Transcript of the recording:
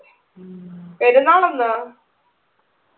പെരുന്നാൾ എന്നുവാ